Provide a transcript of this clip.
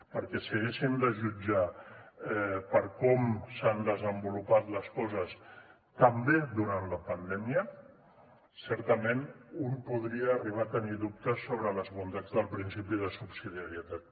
perquè si haguéssim de jutjar per com s’han desenvolupat les coses també durant la pandèmia certament un podria arribar a tenir dubtes sobre les bondats del principi de subsidiarietat